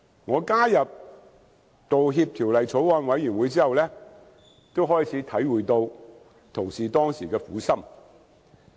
我加入《道歉條例草案》委員會後，也開始體會到九鐵同事當時的苦心。